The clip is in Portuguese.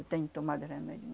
Eu tenho tomado remédio.